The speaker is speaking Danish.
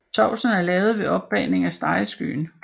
Sovsen var lavet ved opbagning af stegeskyen